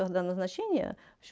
когда назначение